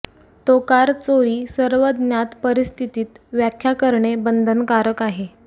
तो कार चोरी सर्व ज्ञात परिस्थितीत व्याख्या करणे बंधनकारक आहे